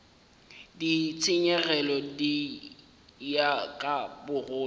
ditshenyegelo di ya ka bogolo